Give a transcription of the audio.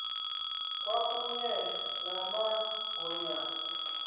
kwakunye nama ngonyaka